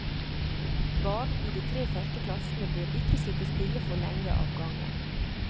Barn i de tre første klassene bør ikke sitte stille for lenge av gangen.